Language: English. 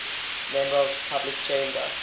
members of the public chamber